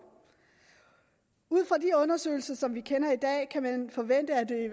ud fra de undersøgelser som vi kender i dag kan man forvente at det